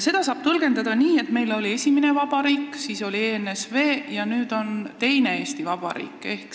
Seda saab tõlgendada nii, et meil oli esimene vabariik, siis oli ENSV ja nüüd on teine Eesti Vabariik.